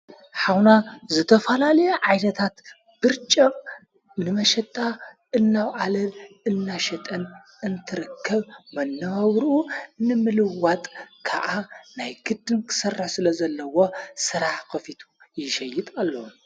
ኃውና ዝተፈላለየ ዓይነታት ብርጨቕ ንመሸጣ እናውዓለል እናሽጠን እንትረከብ፤ መነባብርኡ ንምልዋጥ ከዓ ናይ ግድን ክሠር ስለ ዘለዋ ሠራሓ ኸፊቱ ይሸይጥ ኣሎ።